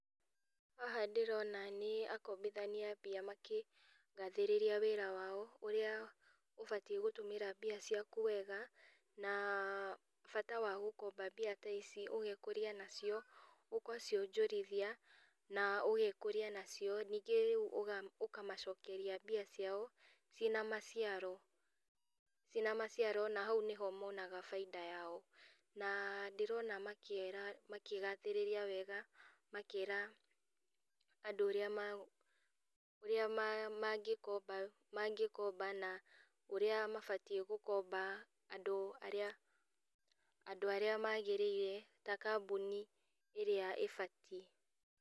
Haha ndĩrona nĩ akombithania a mbia makĩgathĩrĩria wĩra wao, ũrĩa ũbatie gũtũmĩra mbia ciaku wega, na bata wa gũkomba mbia ta ici ũgekũria nacio, ũgacionjorithia na ũgekũria nacio ningĩ uga ũkamacokeria mbia ciao, cina maciaro cina maciaro na hau nĩho monaga bainda yao. Na ndĩrona makĩra makĩgathĩrĩria wega makĩra andũ ũrĩa ma ũrĩa mangĩkomba mangĩkombana ũrĩa mabatie gũkomba andũ arĩa andũ arĩa magĩrĩire ta kambuni ĩrĩa ĩbatie.